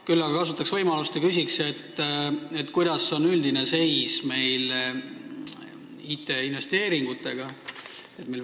Küll aga kasutaks võimalust ja küsiks, kuidas on meie IT-investeeringute üldine seis.